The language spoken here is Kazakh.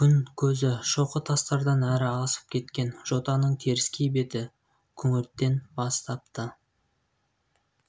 күн көзі шоқы тастардан әрі асып кеткен жотаның теріскей беті күңгірттен бастапты